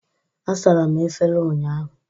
Asara m efere ụnyaahụ